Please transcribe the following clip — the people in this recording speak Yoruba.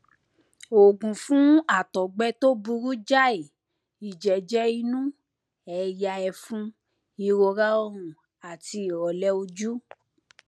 oògùn fún ọgbẹ tó burú jáì ìjẹjẹ inú ẹyà ẹfun ìrora ọrùn àti ìròlẹ ojú